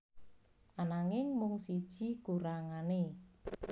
Ananging mung siji kurangané